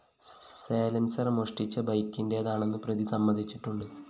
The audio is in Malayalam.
സയലന്‍സര്‍ മോഷ്ടിച്ച ബൈക്കിന്റേതാണെന്ന് പ്രതി സമ്മതിച്ചിട്ടുണ്ട്